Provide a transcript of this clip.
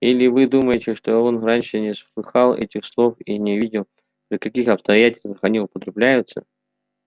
или вы думаете что он раньше не слыхал этих слов и не видел при каких обстоятельствах они употребляются